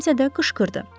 Kimsə də qışqırdı.